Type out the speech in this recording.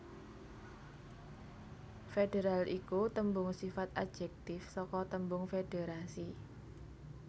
Federal iku tembung sifat adjektif saka tembung Federasi